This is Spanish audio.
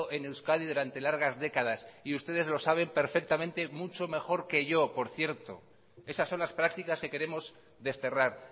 en euskadi durante largas décadas y ustedes lo saben perfectamente mucho mejor que yo por cierto esas son las prácticas que queremos desterrar